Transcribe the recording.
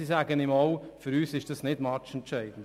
Sie sagen ihm aber auch, dies sei nicht matchentscheidend.